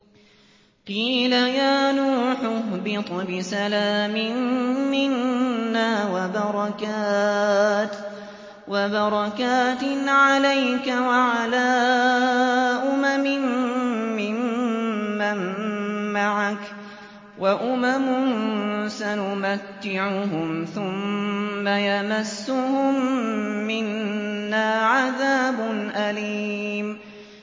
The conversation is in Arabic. قِيلَ يَا نُوحُ اهْبِطْ بِسَلَامٍ مِّنَّا وَبَرَكَاتٍ عَلَيْكَ وَعَلَىٰ أُمَمٍ مِّمَّن مَّعَكَ ۚ وَأُمَمٌ سَنُمَتِّعُهُمْ ثُمَّ يَمَسُّهُم مِّنَّا عَذَابٌ أَلِيمٌ